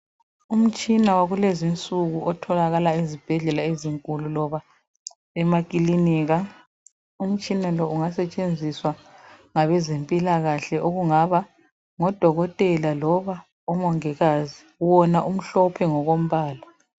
Umtshina wakulezi insuku otholakala ezibhedlela ezinkulu loba emakilinika. Umtshina lo ungasetshenziswa ngabezempilakahle okungaba ngodokotela loba omongikazi. Wona umhlophe mgokombala.